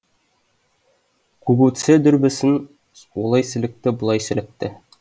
гугуцэ дүрбісін олай сілікті бұлай сілікті